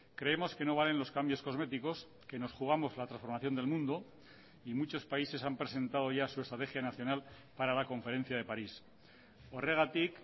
creemos que no valen los cambios cosméticos que nos jugamos la transformación del mundo y muchos países han presentado ya su estrategia nacional para la conferencia de parís horregatik